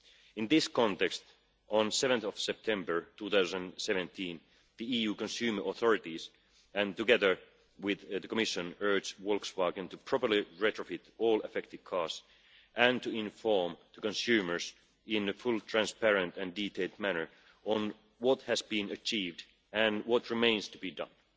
In this context, on 7 September 2017, the EU consumer authorities, together with the Commission, urged Volkswagen to properly retrofit all affected cars and to inform consumers in a fully transparent and detailed manner about what has been achieved and what remains to be done.